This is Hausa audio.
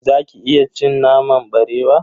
Zaki iya cin naman barewa?